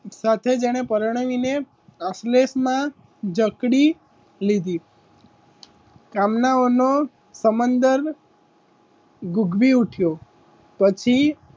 પરણાવીને જકડી લીધી કામનાઓનો સમંદર ગુગવી ઉઠ્યો પછી,